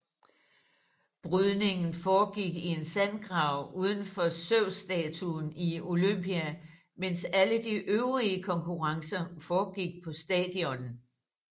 Brydning foregik i en sandgrav uden for Zeusstatuen i Olympia mens alle de øvrige konkurrencer foregik på stadion